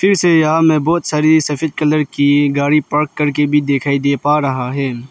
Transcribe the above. इस एरिया में बहोत सारी सफेद कलर की गाड़ी पार्क करके भी दिखाई दे पा रहा है।